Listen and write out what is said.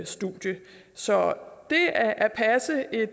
studie så